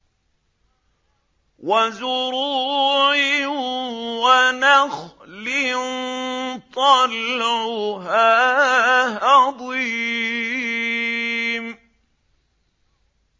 وَزُرُوعٍ وَنَخْلٍ طَلْعُهَا هَضِيمٌ